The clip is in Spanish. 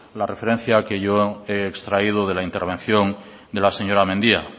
la referencia que yo he extraído de la intervención de la señora mendia